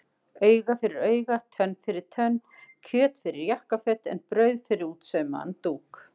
Auga fyrir auga, tönn fyrir tönn, kjöt fyrir jakkaföt en brauð fyrir útsaumaðan dúk.